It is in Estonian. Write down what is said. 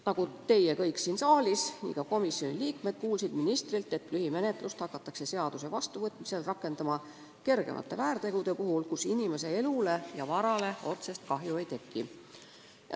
Nagu teie kõik siin saalis, nii kuulsime ka komisjonis ministrilt, et lühimenetlust hakatakse seaduse vastuvõtmise korral rakendama kergemate väärtegude puhul, millega kellegi elule või varale otsest kahju ei tekkinud.